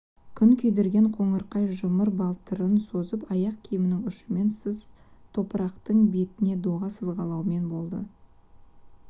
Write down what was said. күн күйдірген қоңырқай жұмыр балтырын созып аяқ киімнің ұшымен сыз топырақтың бетіне доға сызғылаумен болды